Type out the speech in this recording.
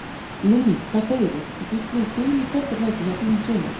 Lillý: Hvað segirðu, þú býst við sigri í kvöld er það ekki hjá þínum syni?